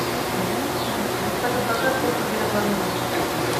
салют какая площадь гренландии